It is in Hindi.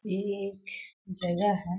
ये एक जगह है।